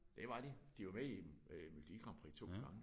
Det var de. De var med i øh Melodi Grand Prix 2 gange